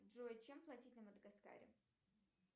джой чем платить на мадагаскаре